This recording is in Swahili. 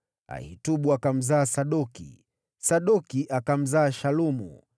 Ahitubu akamzaa Sadoki, Sadoki akamzaa Shalumu,